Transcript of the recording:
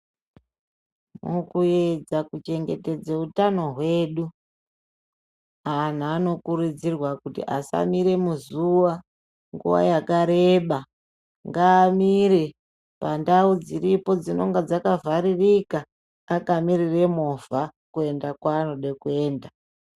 Mukuedza kuchengetedza utano hwedu antu anokurudzirwa kuti asamira muzuwa nguwa yakareba ngamire pandau dziripo dzinenge dzakavharirika akamirire movha kuenda kwaanoda kuenda .